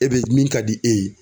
E be min ka di e ye.